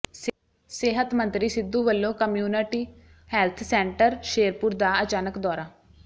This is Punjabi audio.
ਸਿਹਤ ਮੰਤਰੀ ਸਿੱਧੂ ਵੱਲੋਂ ਕਮਿਊਨਟੀ ਹੈਲਥ ਸੈਂਟਰ ਸ਼ੇਰਪੁਰ ਦਾ ਅਚਾਨਕ ਦੌਰਾ